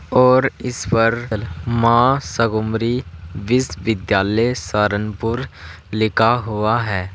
और इस पर मां शगुम्बरी बिसविद्यालय सारनपुर लिखा हुआ है।